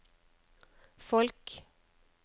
folk